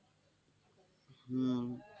হম